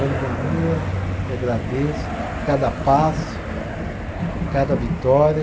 Ando na rua e agradeço cada passo, cada vitória.